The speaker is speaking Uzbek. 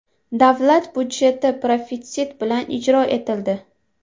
Davlat budjeti profitsit bilan ijro etildi.